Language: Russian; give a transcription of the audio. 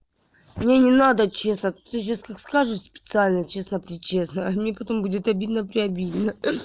мне не надо честно ты сейчас как скажешь специально честно при честно мне потом будет обидно при обидно